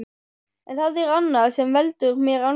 En það er annað sem veldur mér angri.